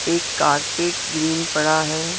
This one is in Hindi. एक कारपेट ग्रीन पड़ा है।